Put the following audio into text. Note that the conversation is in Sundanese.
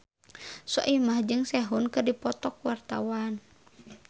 Soimah jeung Sehun keur dipoto ku wartawan